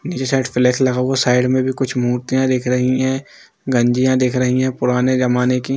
नीचे side flash लगा हुआ साइड में भी कुछ मूर्तियां दिख रही है गंजिया दिख रही है पुराने जमाने की।